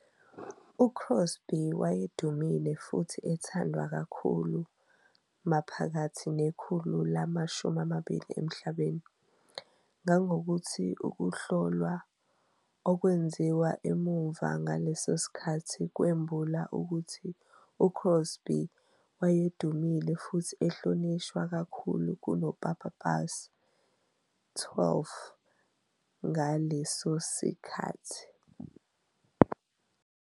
UCrosby wayedumile futhi ethandwa kakhulu maphakathi nekhulu lama-20 emhlabeni, kangokuthi ukuhlolwa okwenziwa emuva ngaleso sikhathi kwembula ukuthi uCrosby wayedumile futhi ehlonishwa kakhulu kunoPapa Pius XII ngaleso sikhathi.